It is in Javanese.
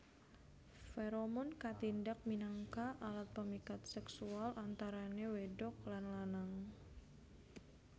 Feromon katindak minangka alat pemikat seksual antarané wédok lan lanang